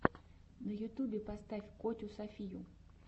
на ютубе поставь котю софию